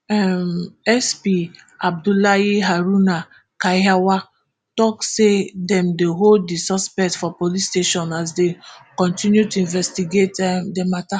um sp abdullahi haruna kiyawa tok say dem dey hold di suspect for police station as dem kontinu to investigate um di matter